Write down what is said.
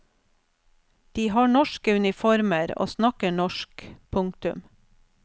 De har norske uniformer og snakker norsk. punktum